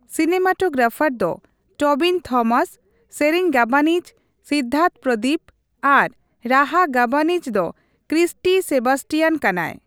Cinematographer ᱫᱚ Tobin Thomas, ᱥᱮᱨᱮᱧ ᱜᱟᱵᱟᱱᱤᱡ ᱥᱤᱫᱫᱟᱨᱛᱷ ᱯᱨᱚᱫᱤᱯ ᱟᱨ ᱨᱟᱦᱟ ᱜᱟᱵᱟᱱᱤᱡ ᱫᱚ ᱠᱨᱤᱥᱴᱤ ᱥᱮᱵᱟᱥᱴᱤᱭᱟᱱ ᱠᱟᱱᱟᱭ ᱾